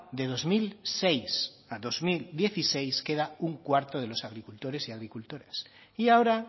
de dos mil seis a dos mil dieciséis queda un cuarto de los agricultores y agricultoras y ahora